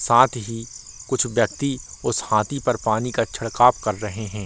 साथ ही कुछ व्यक्ति उस हाथी पर पानी का छिड़काव कर रहें हैं।